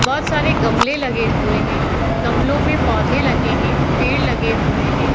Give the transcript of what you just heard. बहोत सारे गमलें लगे हुए हैं। गमलो में पौधे लगे हैं पेड़ लगे हुए हैं।